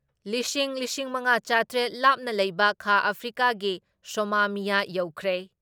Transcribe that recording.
ꯂꯤꯁꯤꯡ ꯂꯤꯁꯤꯡ ꯃꯉꯥ ꯆꯥꯇ꯭ꯔꯦꯠ ꯂꯥꯞꯅ ꯂꯩꯕ ꯈꯥ ꯑꯐ꯭ꯔꯤꯀꯥꯒꯤ ꯁꯣꯃꯥꯃꯤꯌꯥ ꯌꯧꯈ꯭ꯔꯦ ꯫